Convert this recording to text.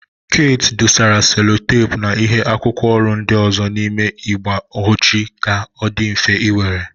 Keeti dosara selotepu na ịhe akwụkwọ ọrụ ndị ọzọ n'ime igbe họchi ka ọ dị mfe iwere.